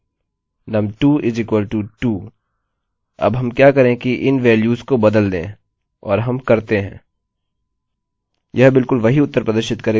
num2=2 अब हम क्या करें कि इन वेल्यू्स को बदल दें और हम करते हैं